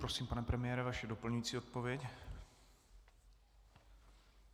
Prosím, pane premiére, vaše doplňující odpověď.